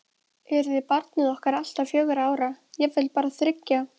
Yrði barnið okkar alltaf fjögurra ára, jafnvel bara þriggja?